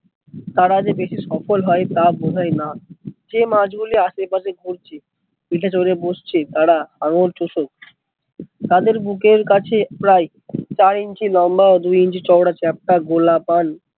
তারা যে বেশি সফল হয় তা বোধ হয় না, যে মাছ গুলি আসে পশে ঘুরছে পিঠে চড়ে বসছে তারা আঙ্গুল চোষক, তাদের বুকের কাছে প্রায় চার ইঞ্চি লম্বা ও দু ইঞ্চি চওড়া চ্যাপ্টা গোলাকার